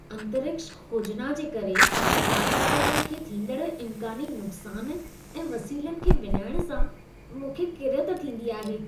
अंतरिक्ष खोजना जे करे वातावरण खे थींदड़ इम्कानी नुक़सान ऐं वसीलनि खे विञाइण सां मूंखे किरियत थींदी आहे।